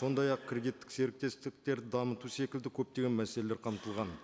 сондай ақ кредиттік серіктестіктерді дамыту секілді көптеген мәселелер қамтылған